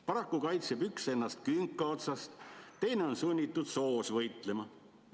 Paraku kaitseb üks ennast künka otsast, teine on sunnitud soos võitlema.